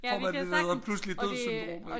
Får man det der hedder pludseligt dødssyndrom